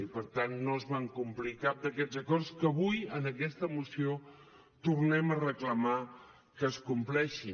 i per tant no es van complir cap d’aquests acords que avui en aquesta moció tornem a reclamar que es compleixin